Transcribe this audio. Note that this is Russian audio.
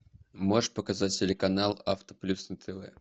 можешь показать телеканал авто плюс на тв